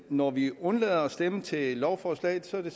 når vi undlader at stemme til lovforslaget er det